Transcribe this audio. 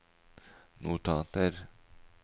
notater